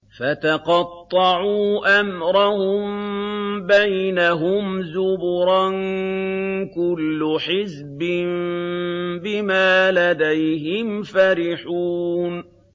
فَتَقَطَّعُوا أَمْرَهُم بَيْنَهُمْ زُبُرًا ۖ كُلُّ حِزْبٍ بِمَا لَدَيْهِمْ فَرِحُونَ